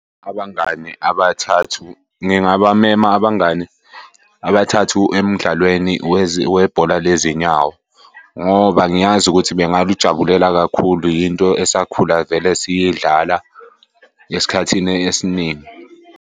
Abangani abathathu, ngingabamema abangani abathathu emdlalweni webhola lezinyawo ngoba ngiyazi ukuthi bengalujabulela kakhulu. Yinto esakhula vele siyidlala esikhathini esiningi.